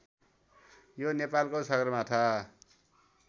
यो नेपालको सगरमाथा